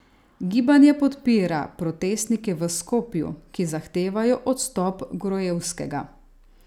Gibanje podpira protestnike v Skopju, ki zahtevajo odstop Gruevskega.